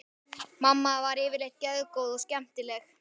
Mamma var yfirleitt geðgóð og skemmtileg.